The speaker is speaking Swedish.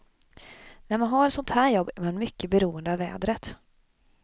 När man har ett sådant här jobb är man mycket beroende av vädret.